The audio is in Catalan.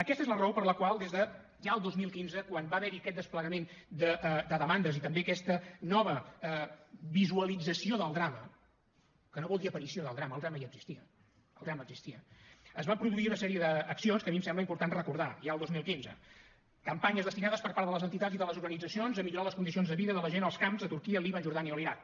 aquesta és la raó per la qual des de ja el dos mil quinze quan va haver hi aquest desplegament de demandes i també aquesta nova visualització del drama que no vol dir aparició del drama el drama ja existia el drama existia es van produir una sèrie d’accions que a mi em sembla important recordar ja el dos mil quinze campanyes destinades per part de les entitats i de les organitzacions a millorar les condicions de vida de la gent als camps de turquia el líban jordània o l’iraq